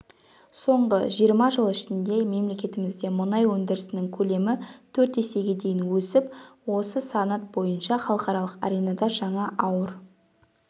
соңғы жиырма жыл ішінде мемлекетімізде мұнай өндірісінің көлемі төрт есеге дейін өсіп осы санат бойынша халықаралық аренада жаңа ауыр